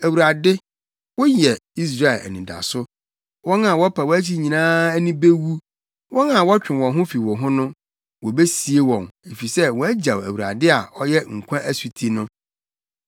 Awurade, woyɛ Israel anidaso, wɔn a wɔpa wʼakyi nyinaa ani bewu. Wɔn a wɔtwe wɔn ho fi wo ho no, wobesie wɔn efisɛ wɔagyaw Awurade a ɔyɛ nkwa asuti no.